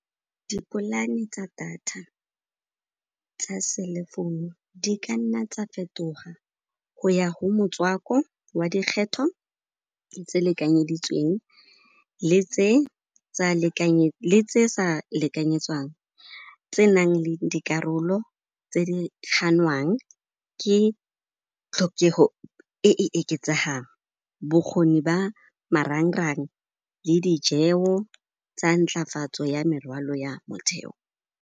Dipolaani tsa data, tsa cell phone-u, di ka nna tsa fetoga go ya go motswako wa dikgetho tse lekanyeditsweng le tse sa lekanyetswang, tse nang le dikarolo tse di kganwang ke tlhokego e e eketsehang. Bokgoni ba marangrang le dijeo tseo tsa nttlafatso ya morwalo ya motheo.